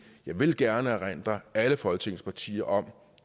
vil jeg gerne erindre alle folketingets partier om